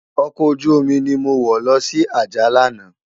Òkò ójùómi ni mó wò lòsi Ajah làná